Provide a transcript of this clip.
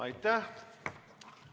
Aitäh!